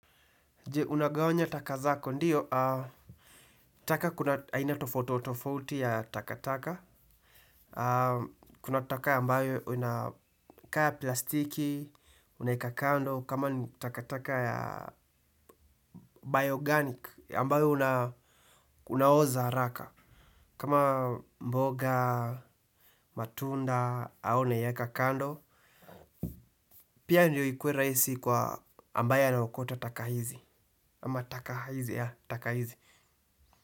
Je, unagawanya taka zako, ndiyo, taka kuna, aina tofauti, tofauti ya takataka, kuna taka ambayo unakaa plastiki, unaweka kando, kama ni takataka ya bioorganic, ambayo unaoza haraka, kama mboga, matunda, hayo uneweka kakando, pia ndiyo ikuwe rahisi kwa ambayo anayookota taka hizi.